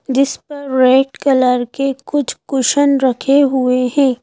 जिस पर red colour के कुछ कुशन रखे हुए हैं।